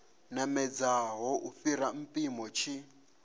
namedzaho u fhira mpimo tshi